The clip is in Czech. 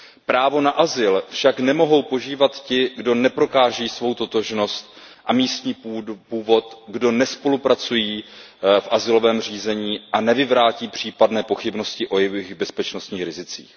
Právo na azyl však nemohou požívat ti, kdo neprokáží svou totožnost a místní původ, kdo nespolupracují v azylovém řízení a nevyvrátí případné pochybnosti o jejich bezpečnostních rizicích.